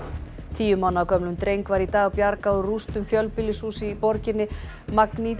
tíu mánaða gömlum dreng var í dag bjargað úr rústum fjölbýlishúss í borginni